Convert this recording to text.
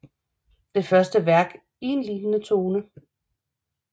Det første værk i en lignende tone